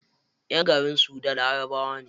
Ƴan garin sudan larabawa ne.